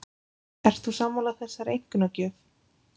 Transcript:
Ert þú sammála þessari einkunnagjöf?